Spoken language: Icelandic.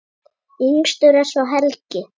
Yngstur er svo Helgi.